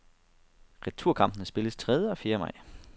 Returkampene spilles tredje og fjerde maj.